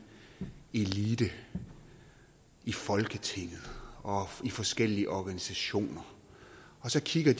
elite i folketinget og i forskellige organisationer som kigger